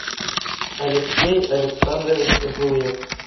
алексей александрович зуев